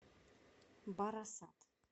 барасат